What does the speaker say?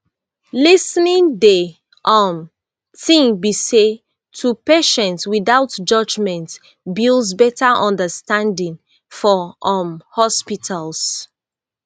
lis ten ing de um tin be say to patients without judgment builds betta understanding for um hospitals